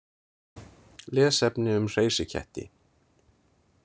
Lesefni um hreysiketti.